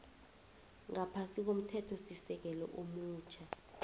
ngaphasi komthethosisekelo omutjha